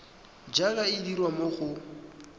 jaaka e dirwa mo go